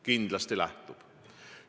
Kindlasti lähtub.